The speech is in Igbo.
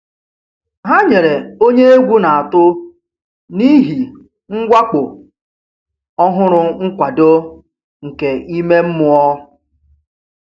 Ha nyere onye egwu na-atụ n'ihi mwakpo ọhụrụ nkwado nke ime mmụọ.